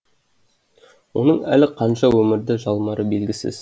оның әлі қанша өмірді жалмары белгісіз